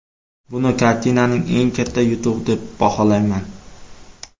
Buni kartinaning eng katta yutug‘i deb baholayman.